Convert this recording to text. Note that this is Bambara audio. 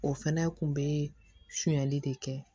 O fɛnɛ kun be fiyɛli de kɛ